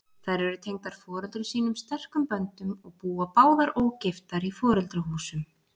Þær eru tengdar foreldrum sínum sterkum böndum og búa báðar ógiftar í foreldrahúsum.